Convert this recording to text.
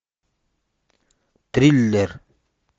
триллер